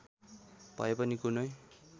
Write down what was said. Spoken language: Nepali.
भए पनि कुनै